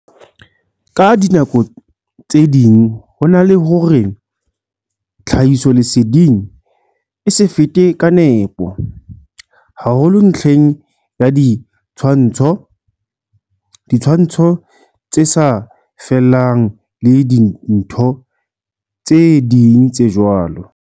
Ka dinako tse ding hona le hore tlha hisoleseding e se fete ka nepo, haholo ntlheng ya di tshwantsho, ditshwantsho tse sa fellang le dintho tse ding tse jwalo.